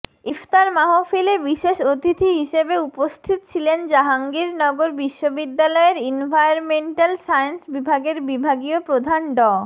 ইফতার মাহফিলে বিশেষ অতিথি হিসেবে উপস্থিত ছিলেন জাহাঙ্গীরনগর বিশ্ববিদ্যালয়ের ইনভায়রনমেন্টাল সায়েন্স বিভাগের বিভাগীয় প্রধান ড